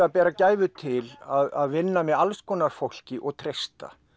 að bera gæfu til að vinna með alls konar fólki og treysta